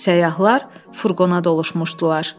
Səyyahlar furqona doluşmuşdular.